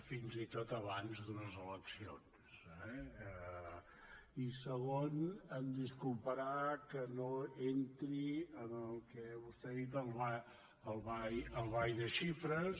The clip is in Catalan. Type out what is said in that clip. fins i tot abans d’unes eleccions eh i segon disculpi’m que no entri en el que vostè n’ha dit el ball de xifres